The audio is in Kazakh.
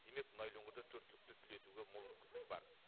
демек мұнайлы өңірде төрт түлікті түлетуге мол мүмкіндік бар